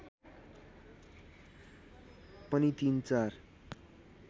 पनि तिन चार